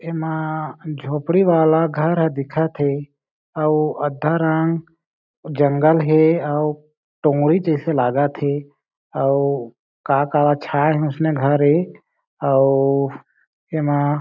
ऐ मा झोपड़ी वाला घर ह दिख थे अऊ आधा रंग जंगल हे अऊ टोगड़ी जेसे लागत थे अऊ का का छाए हे उसने घर ए अउ ऐमा--